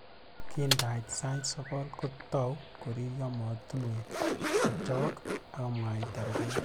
Kindait sait sokol, kotou koriryo motunwek chok akomwaita rubet